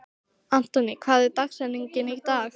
Anthony, hver er dagsetningin í dag?